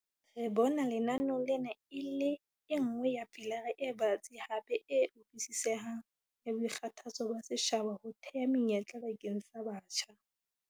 "Re bona lenaneo lena e le e nngwe ya pilara e batsi hape e utlwisisehang ya boikgathatso ba setjhaba ho theha menyetla bakeng sa batjha."